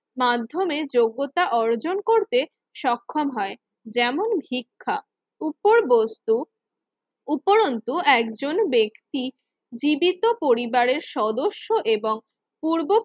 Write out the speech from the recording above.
মাধ্যমে যোগ্যতা অর্জন করতে সক্ষম হয়। যেমন ভিক্ষা উপর বস্তু উপরন্তু একজন ব্যক্তি জীবিত পরিবারের সদস্য এবং পূর্ব